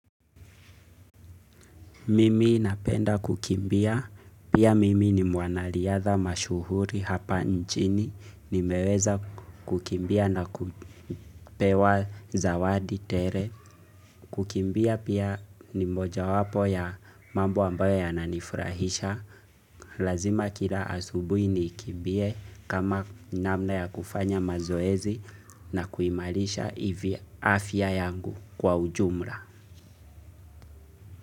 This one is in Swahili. Mimi napenda kukimbia. Pia mimi ni mwanariadha mashuhuri hapa nchini. Nimeweza kukimbia na kupewa zawadi tele. Kukimbia pia ni mojawapo ya mambo ambayo yananifurahisha. Lazima kila asubuhi nikimbie kama namna ya kufanya mazoezi. Na kuimarisha afya yangu kwa ujumla.